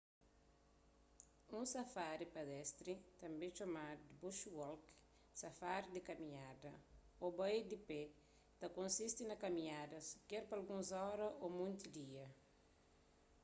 un safari pedestri tanbê txomadu di bush walk” safari di kaminhada” ô bai di pé” ta konsisti na kaminhadas ker pa alguns óras ô monti dia